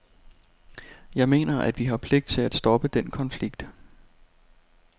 Jeg mener, at vi har pligt til at stoppe den konflikt.